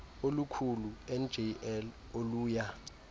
olukhulu njl oluya